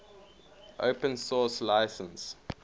open source license